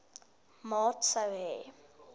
maat sou hê